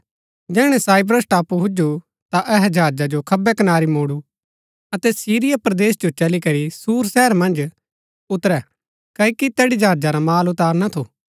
जैहणै साइप्रस टापू हुजु ता अहै जहाजा जो खब्बै कनारी मोडु अतै सीरिया परदेस जो चली करी सूर शहर मन्ज उतरै क्ओकि तैड़ी जहाजा रा माल उतारना थु